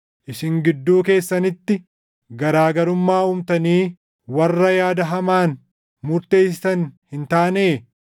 isin gidduu keessanitti garaa garummaa uumtanii warra yaada hamaan murteessitan hin taanee?